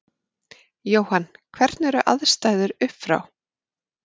Jóhann: Hvernig eru aðstæður upp frá?